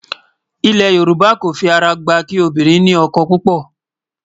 ilé yorùbá kò fí ará gbà kí obìnrin ní ókó púpò